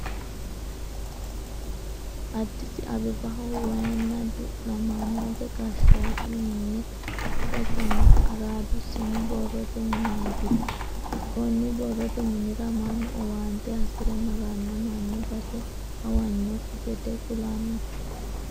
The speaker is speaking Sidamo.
Adis abebaho wayinna du'namanote gaashotu minne ikkasinna aradu sinu borrote mineti koni borrote minira manu owaante hasire marano mani base hawanokki gede kulano